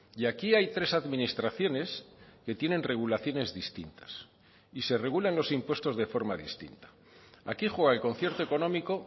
y aquí hay tres administraciones que tienen regulaciones distintas y se regulan los impuestos de forma distinta aquí juega el concierto económico